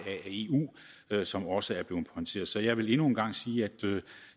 af eu som også er blevet konsulteret så jeg vil endnu engang sige at